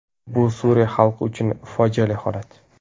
Bu Suriya xalqi uchun fojiali holat”.